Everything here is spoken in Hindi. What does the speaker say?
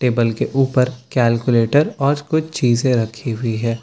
टेबल के ऊपर कैलकुलेटर और कुछ चीजें रखी हुई हैं।